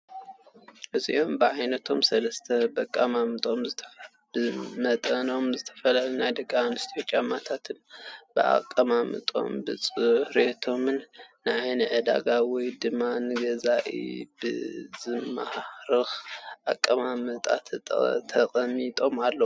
እዞም ብዓይነቶም ሰለስተ ብመጠኖም ዝተፈላለዩ ናይ ደቂ ኣነስትዮ ጫማታት ብኣቀማምጦኦምን ብፅሬቶም ንዓይኒ ዕዳጋ ወይ ድማ ንገዛኢ ብዝማርክ ኣቀማምጣ ተቀሚጦም ኣለዉ፡፡